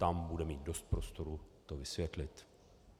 Tam bude mít dost prostoru to vysvětlit.